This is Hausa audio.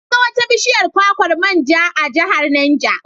Na ga wata bishiyar kwakwar man ja a Jihar Neja.